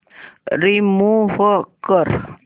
remove कर